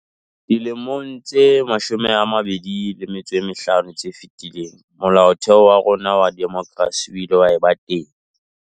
Dilemong tse 25 tse fetileng, Molaotheo wa rona wa demokrasi o ile wa eba teng.